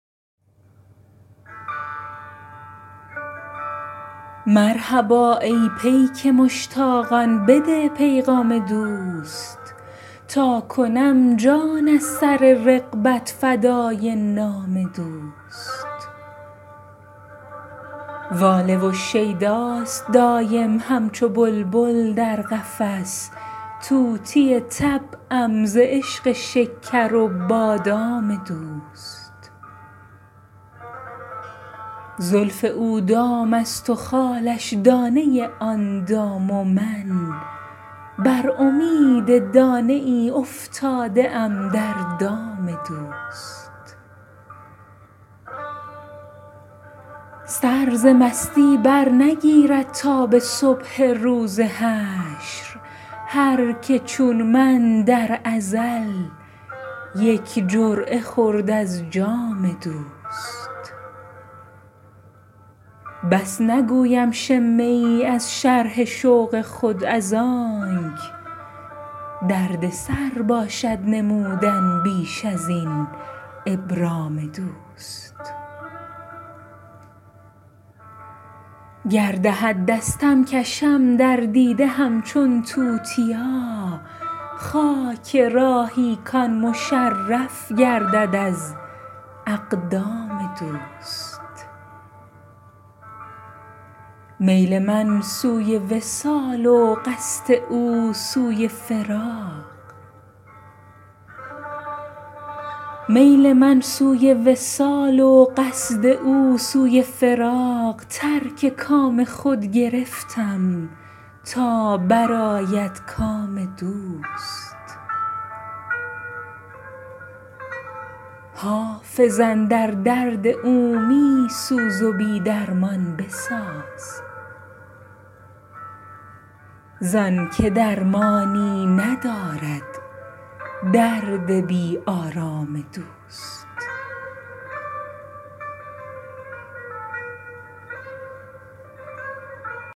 مرحبا ای پیک مشتاقان بده پیغام دوست تا کنم جان از سر رغبت فدای نام دوست واله و شیداست دایم همچو بلبل در قفس طوطی طبعم ز عشق شکر و بادام دوست زلف او دام است و خالش دانه آن دام و من بر امید دانه ای افتاده ام در دام دوست سر ز مستی برنگیرد تا به صبح روز حشر هر که چون من در ازل یک جرعه خورد از جام دوست بس نگویم شمه ای از شرح شوق خود از آنک دردسر باشد نمودن بیش از این ابرام دوست گر دهد دستم کشم در دیده همچون توتیا خاک راهی کـ آن مشرف گردد از اقدام دوست میل من سوی وصال و قصد او سوی فراق ترک کام خود گرفتم تا برآید کام دوست حافظ اندر درد او می سوز و بی درمان بساز زان که درمانی ندارد درد بی آرام دوست